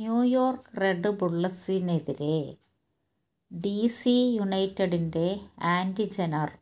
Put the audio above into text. New York red ബുള്ളസിനെതിരെ DC യുണൈറ്റഡിന്റെ Andy Najar